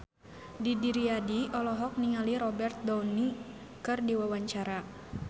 Didi Riyadi olohok ningali Robert Downey keur diwawancara